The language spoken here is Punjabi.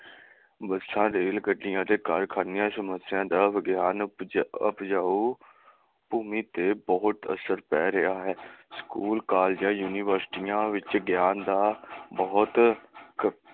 ਬੱਸਾਂ, ਰੇਲ ਗੱਡੀਆਂ ਤੇ ਕਾਰਖਾਨਿਆਂ ਸਮੱਸਿਆ ਦਾ ਵਿਗਿਆਨਕ ਉਪਜਾਊ ਭੂਮੀ ਤੇ ਬਹੁਤ ਅਸਰ ਪੈ ਰਿਹਾ ਹੈ। ਸਕੂਲ, ਕਾਲਜਾਂ, ਯੂਨੀਵਰਸਿਟੀਆਂ ਵਿਚ ਗਿਆਨ ਦਾ ਬਹੁਤ